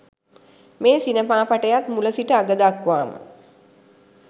මේ සිනමාපටයත් මුල සිට අග දක්වාම